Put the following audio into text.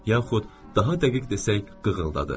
Yaxud, daha dəqiq desək, qığıldadı.